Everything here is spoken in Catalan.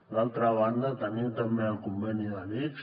d’altra banda tenim també el conveni de l’ics